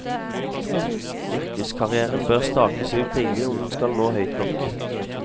Yrkeskarrièren bør stakes ut tidlig om den skal nå høyt nok.